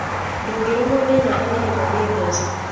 Ndũngĩrũmwo nĩ nyoka nĩgetha ũgie mbeca.